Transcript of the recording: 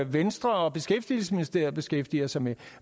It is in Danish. venstre og beskæftigelsesministeriet beskæftiger sig med